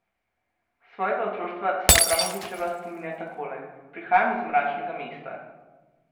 Svojega otroštva se Abramovićeva spominja takole: "Prihajam iz mračnega mesta.